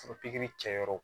Foro pikiri kɛyɔrɔ